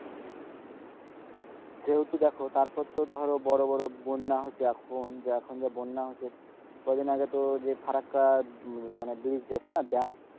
সেহেতু দেখো তারপর তো ধরো বড়ো বড়ো বন্যা হয়েছে এখন যা বন্যা হয়েছে কয়েকদিন আগে তো ফারাক্কা মানে bridge আছে না dam,